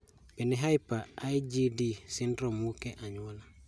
Bende Hyper IgD syndrome wuok e anyuola